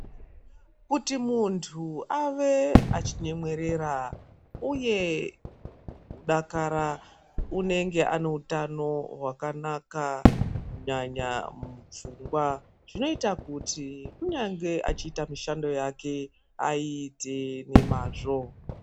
Kuti muntu ave achinyemwerera uye kudakara unenge aneutano wakanaka kunyanya mufungwa .Zvinoita kuti kunyangwe achiita mishando yake aiite nemwazvo .